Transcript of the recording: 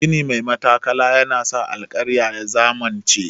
Gini mai matattakala na sa alkarya ya zamanance.